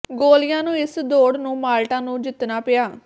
ਗੋਲੀਆਂ ਨੂੰ ਇਸ ਦੌੜ ਨੂੰ ਮਾਲਟਾ ਨੂੰ ਜਿੱਤਣਾ ਪਿਆ